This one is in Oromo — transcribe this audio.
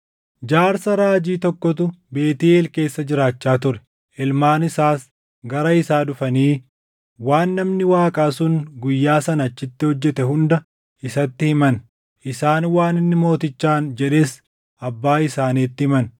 Jaarsa raajii tokkotu Beetʼeel keessa jiraachaa ture; ilmaan isaas gara isaa dhufanii waan namni Waaqaa sun guyyaa sana achitti hojjete hunda isatti himan. Isaan waan inni mootichaan jedhes abbaa isaaniitti himan.